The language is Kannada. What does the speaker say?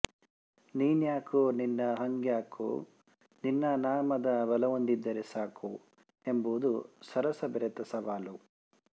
ನೀನ್ಯಾಕೋ ನಿನ್ನ ಹಂಗ್ಯಾಕೋ ನಿನ್ನ ನಾಮದ ಬಲವೊಂದಿದ್ದರೆ ಸಾಕೋ ಎಂಬುದು ಸರಸ ಬೆರೆತ ಸವಾಲು